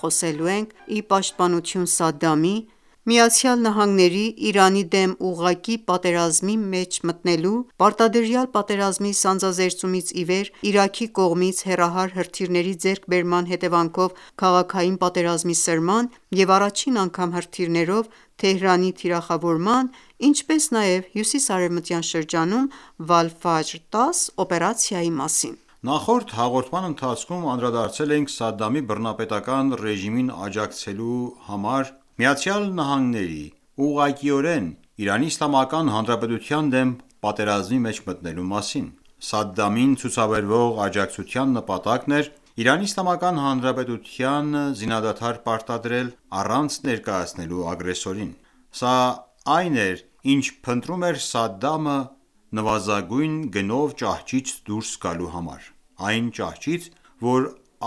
խոսելու ենք ի պաշտպանություն Սադդամի, ԱՄՆ-ի՝ Իրանի դեմ ուղղակի պատերազմի մեջ մտնելու, պարտադրյալ պատերազմի սանձազերծումից ի վեր Իրաքի կողմից հեռահար հրթիռների ձեռքբերման հետևանքով քաղաքային պատերազմի սրման, և առաջին անգամ հրթիռներով Թեհրանի թիրախավորման, ինչպես նաև հյուսիսարևմտյան շրջանում «Վալֆաջր 10»օպերացիայի մասին։ Նախորդ հաղորդման ընթացքում անդրադարձել էինք Սադդամի բռնապետական ​​ռեժիմին աջակցելու համար, ԱՄՆ-ի՝ ուղղակիորեն ԻԻՀ-ի դեմ պատերազմի մեջ մտնելու մասին։ Սադդամին ցուցաբերվող աջակցության նպատակն էր ԻԻՀ-ին զինադադար պարտադրելը՝ առանց ներկայացնելու ագրեսորին ։ Սա այն էր, ինչ փնտրում էր Սադդամը՝ նվազագույն գնով ճահճից դուրս գալու համար: Այն ճահճից, որ